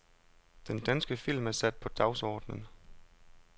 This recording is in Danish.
Den danske film er sat på dagsordenen.